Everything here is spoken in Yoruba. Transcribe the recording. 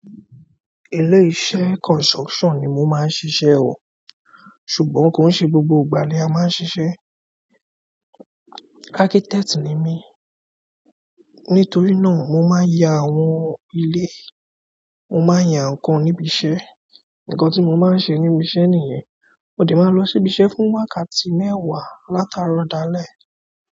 Ilé iṣẹ́ construction ni mo máa ń ṣiṣẹ́ o, ṣùgbọ́n kò n ṣe gbogbo ìgbà ni a máa ń ṣiṣẹ́. Architect ni mí, nítorí náà mo máa ń ya àwọn ilé, mo máa ń ya ǹkan níbi iṣẹ́. Ǹkan tí mo máa ń sẹ níbi iṣẹ́ nìyẹn, mo dè máa lọ sí ibi iṣẹ́ fún wákàtí mẹ́wàá láti àárọ̀ dalẹ́.